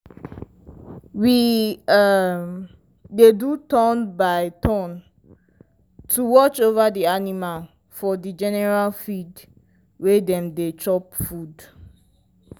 we um dey do turn-by-turn to watch over the animal for the general field wey dem they chop food.